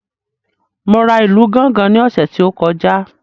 Mo ra ìlù gángan ní ọ̀sẹ̀ tí ó kọjá